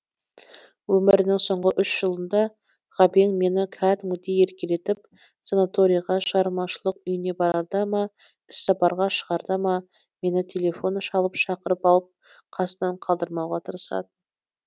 өмірінің соңғы үш жылында ғабең мені кәдімгідей еркелетіп санаторийға шығармашылық үйіне барарда ма іссапарға шығарда ма мені телефон шалып шақырып алып қасынан қалдырмауға тырысатын